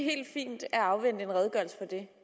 helt fint at afvente en redegørelse for det